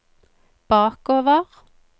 bakover